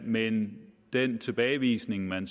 men den tilbagevisning man